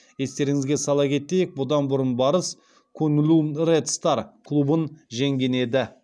естеріңізге сала кетейік бұдан бұрын барыс куньлунь ред стар клубын жеңген еді